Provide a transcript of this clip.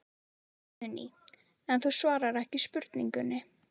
Guðný: En þú svarar ekki spurningunni?